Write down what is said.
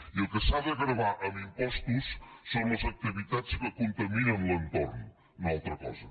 i el que s’ha de gravar amb impostos són les activitats que contaminen l’entorn no una altra cosa